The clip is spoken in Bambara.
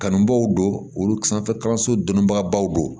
Kanubaw don olu sanfɛ kalanso donni baw don